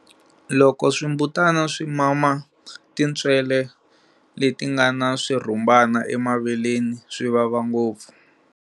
Loko swimbutana swi mama tintswele leti nga na swirhumbana emaveleni, swi vava ngopfu.